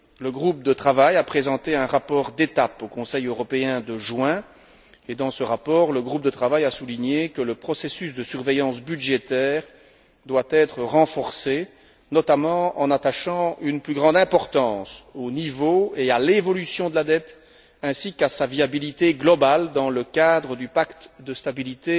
Le groupe de travail a présenté un rapport d'étape au Conseil européen de juin et, dans ce rapport, le groupe de travail a souligné que le processus de surveillance budgétaire devait être renforcé, notamment en attachant une plus grande importance au niveau et à l'évolution de la dette, ainsi qu'à sa viabilité globale dans le cadre du pacte de stabilité